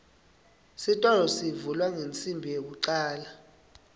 sitolo sivulwa ngensimbi yekucale